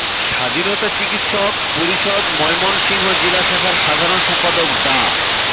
স্বাধীনতা চিকিৎসক পরিষদ ময়মনসিংহ জেলা শাখার সাধারণ সম্পাদক ডা